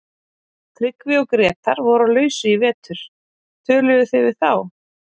Tryggvi og Grétar voru á lausu í vetur, töluðuð þið við þá?